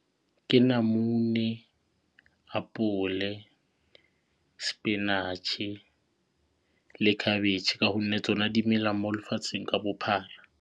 Ke namune, apole, spinach-e le khabetšhe ka gonne tsona di mela mo lefatsheng ka bophara.